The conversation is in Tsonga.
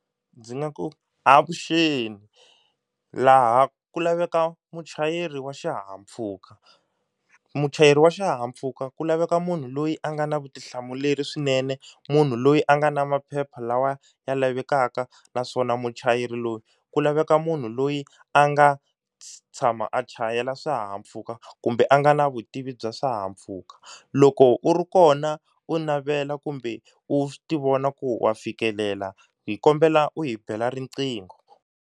Ndzi nga ku avuxeni laha ku laveka muchayeri wa xihahampfhuka, muchayeri wa xihahampfhuka ku laveka munhu loyi a nga na vutihlamuleri swinene munhu loyi a nga na maphepha lawa ya lavekaka naswona muchayeri loyi ku laveka munhu loyi a nga tshama a chayela swihahampfhuka kumbe a nga na vutivi bya swihahampfhuka. Loko u ri kona u navela kumbe u ti vona ku wa fikelela hi kombela u hi bela riqingho.